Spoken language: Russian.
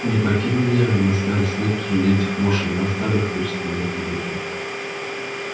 не покинь меня на старости лет посреди этих мошен а старый хрыч сказал ему пугачёв